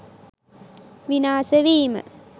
විනාස වීම